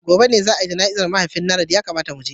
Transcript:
Gobe ​​ne za a yi jana'izar mahaifin Nanret, ya kamata mu je.